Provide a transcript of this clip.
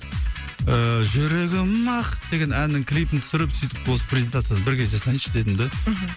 ііі жүрегім ақ деген әннің клипін түсіріп сөйтіп осы презентациясын бірге жасайыншы дедім да мхм